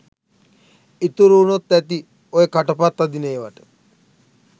ඉතුරු වුනොත් ඇති ඔය කට පත් අදින ඒවට.